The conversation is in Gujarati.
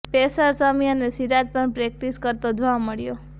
પેસર શમી અને સિરાજ પણ પ્રેક્ટિસ કરતો જોવા મળ્યો